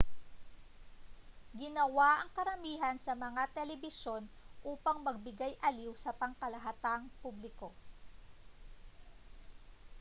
ginawa ang karamihan sa mga telebisyon upang magbigay-aliw sa pangkalahatang publiko